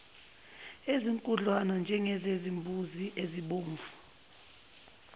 ezinkudlwana njengezimbuzi nezimvu